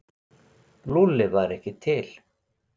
Lúlli væri ekki til.